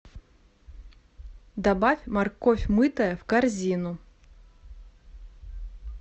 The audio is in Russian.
добавь морковь мытая в корзину